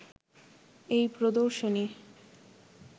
এই প্রদর্শনী